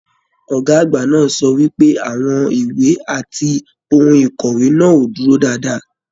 Ọgá àgbà náà sọ wípé àwọn ìwé àti ohùn ikọwe náà o dúró dáadáa.